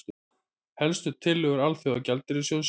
Helstu tillögur Alþjóðagjaldeyrissjóðsins